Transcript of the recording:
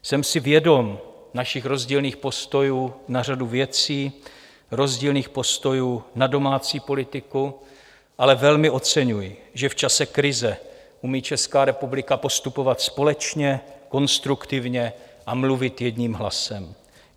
Jsem si vědom našich rozdílných postojů na řadu věcí, rozdílných postojů na domácí politiku, ale velmi oceňuji, že v čase krize umí Česká republika postupovat společně, konstruktivně a mluvit jedním hlasem.